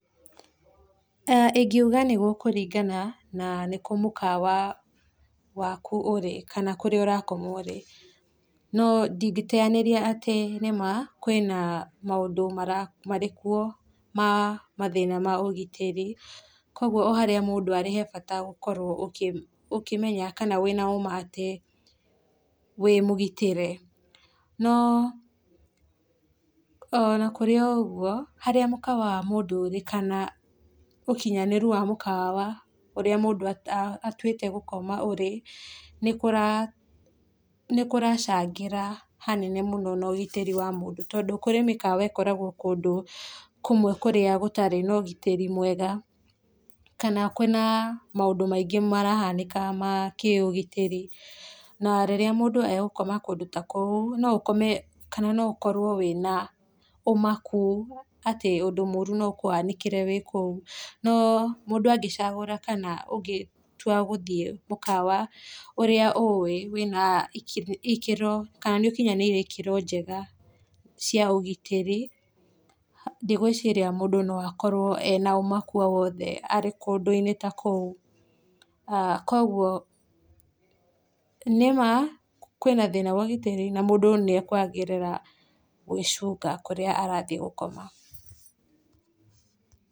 Ĩngĩuga nĩ gũkũringana na nĩkũ mũkawa waku ũrĩ kana kũrĩa ũrakoma ũrĩ, no ndingĩteyanĩria atĩ nĩmaa kwĩna maũndũ marĩkuo ma mathĩna ma ũgitĩri, kogwo oharĩa mũndũ arĩ hebata gũkorwo ũkĩmenya kana wĩna ũmaa atĩ wĩmũgitĩre. No ona kũrĩ o ũguo, harĩa mũkawa wa mũndũ ũrĩ, kana ũkinyanĩru wa mũkawa ũrĩa mũndũ atuĩte gũkoma ũrĩ, nĩ kũracangĩra hanene mũno na ũgitĩri wa mũndũ, tondũ harĩ mĩkawa ĩkoragwo kũndũ kũmwe kũrĩa gũtarĩ na ũgitĩri mwega, kana kwĩna maũndũ maingĩ marahanĩka makĩũgitĩri, na rĩrĩa mũndũ egũkoma kũndũ takũu, no ũkome kana ũkorwo wĩna ũmaku atĩ ũndũ mũru no ũkũhanĩkĩre wĩkũu. No mũndũ agĩcagũra kana ũgĩtua gũthiĩ mũkawa ũrĩa ũĩ wĩna ikĩro, kana nĩ ũkinyanĩirie ikĩro njega cia ũgitĩri, ndigwĩciria mũndũ no akorwo ena ũmaku o wothe arĩ kũndũ-inĩ ta kũu. Kogwo nĩ maa kwĩna thĩna wa ũgitĩri, na mũndũ nĩ ekwagĩrĩra gwĩcunga kũrĩa arathiĩ gũkoma.